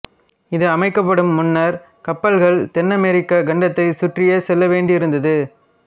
இது அமைக்கப்படும் முன்னர் கப்பல்கள் தென்னமெரிக்கக் கண்டத்தைச் சுற்றியே செல்ல வேண்டியிருதது